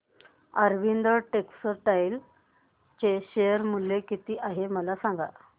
Arvind textile चे share मूल्य किती आहे मला सांगा